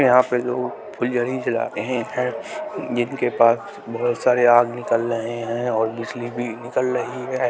यहाँ पे लोग फुलझरी चला रहे हैं जिनके पास बहुत सारे आग निकल रहे हैं और बिजली भी निकल रही है।